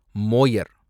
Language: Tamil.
மோயர்